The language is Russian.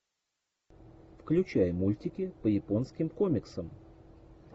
включай мультики по японским комиксам